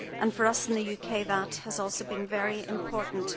For us in the UK that has also been very important.